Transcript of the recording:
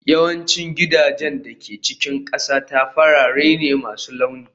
Yawancin gidajen da ke cikin ƙasata farare ne masu launi